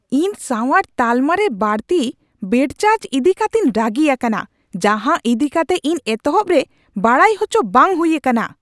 ᱤᱧ ᱥᱟᱶᱟᱨ ᱛᱟᱞᱢᱟᱨᱮ ᱵᱟᱹᱲᱛᱤ ᱵᱮᱰ ᱪᱟᱨᱡ ᱤᱫᱤ ᱠᱟᱛᱮᱧ ᱨᱟᱹᱜᱤ ᱟᱠᱟᱱᱟ, ᱡᱟᱦᱟᱸ ᱤᱫᱤ ᱠᱟᱛᱮ ᱤᱧ ᱮᱛᱚᱦᱚᱵ ᱨᱮ ᱵᱟᱰᱟᱭ ᱟᱪᱚ ᱵᱟᱝ ᱦᱩᱭ ᱟᱠᱟᱱᱟ ᱾